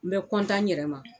N bɛ n yɛrɛ ma.